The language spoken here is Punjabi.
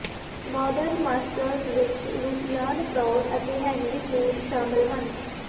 ਮਾਡਰਨ ਮਾਸਟਰਜ਼ ਵਿੱਚ ਲੂਸੀਆਨ ਫਰਾਉਡ ਅਤੇ ਹੈਨਰੀ ਮੂਰ ਸ਼ਾਮਲ ਹਨ